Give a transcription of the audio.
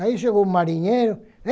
Aí chegou o marinheiro.